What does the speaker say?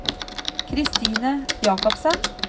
Kristine Jakobsen